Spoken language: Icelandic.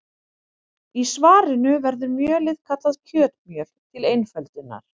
Í svarinu verður mjölið kallað kjötmjöl til einföldunar.